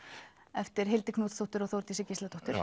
eftir Hildi Knútsdóttur og Þórdísi Gísladóttur